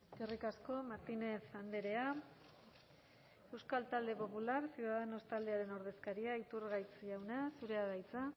eskerrik asko martínez andrea euskal talde popular ciudadanos taldearen ordezkaria iturgaiz jauna zurea da hitza